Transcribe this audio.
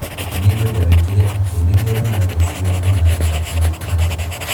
Nngwenda wikire atĩ nĩ ndirona rũciũ ya maritha mwaipaja